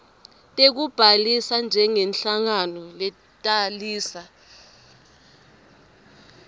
tekubhalisa njengenhlangano letalisa